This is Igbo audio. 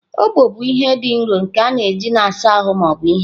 Ogbọ bụ ihe dị nro nke a na-eji na-asa ahụ ma ọ bụ ihe.